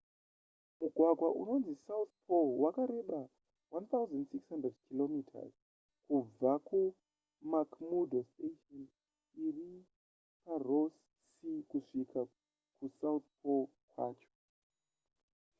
mugwagwa unonzi south pole wakareba 1 600 km kubva kumcmurdo station iri paross sea kusvika kusouth pole kwacho